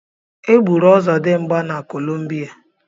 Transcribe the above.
E gburu ọzọdimgba na Columbia.